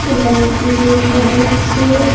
এইখানে একটি রুম দেখা যাচ্ছে।